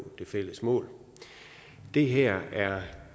det fælles mål det her er